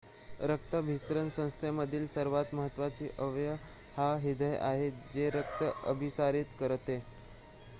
रक्ताभिसरण संस्थेमधील सर्वात महत्वाचा अवयव हा हृदय आहे जे रक्त अभिसारीत करते